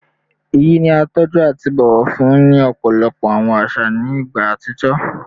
Iyi ni a tọju ati bọwọ fun ni ọpọlọpọ awọn aṣa ni igba atijọ